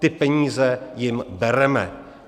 Ty peníze jim bereme.